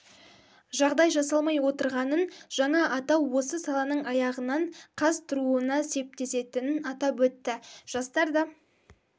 жағдай жасалмай отырғанын жаңа атау осы саланың аяғынан қаз тұруына септесетінін атап өтті жастар да